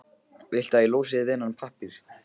Viltu að ég losi þig við þennan pappír?